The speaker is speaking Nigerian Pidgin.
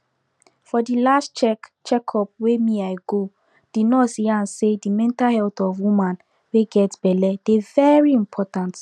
for de last check check up wey me i go de nurse yan say the mental health of woman wey get belle dey very important